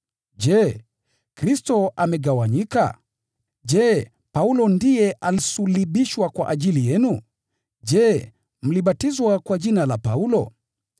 Je, Kristo amegawanyika? Je, Paulo ndiye alisulubishwa kwa ajili yenu? Je, mlibatizwa kwa jina la Paulo?